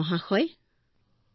ধন্যবাদ ধন্যবাদ বিজয়শান্তি